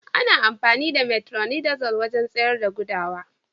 Ana amfani da "metronidazole" wajen tsayar da gudawa.